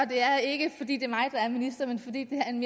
det er ikke fordi det er mig der er minister men fordi det er en